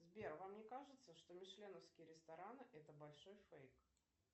сбер вам не кажется что мишленовские рестораны это большой фейк